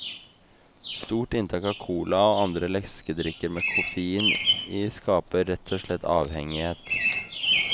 Stort inntak av cola og andre leskedrikker med koffein i skaper rett og slett avhengighet.